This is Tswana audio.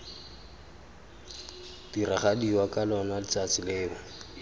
diragadiwa ka lona letsatsi leo